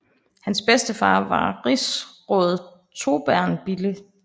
Hans bedstefar var rigsråd Torbern Bille